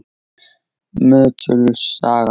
Möttuls saga